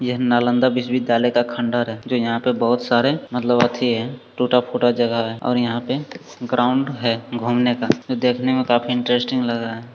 यह नालंदा विश्वविद्यालय का खंडहर है जो यहाँ पे बहुत सारे मतलब अथी है टूटा-फूटा जगह है और यहां पे ग्राउंड है घूमने का देखने मे काफी इंट्रेस्टिंग लग रहा।